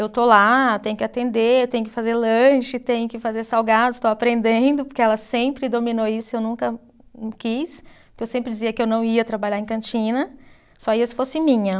Eu estou lá, tenho que atender, tenho que fazer lanche, tenho que fazer salgados, estou aprendendo, porque ela sempre dominou isso e eu nunca quis, porque eu sempre dizia que eu não ia trabalhar em cantina, só ia se fosse minha.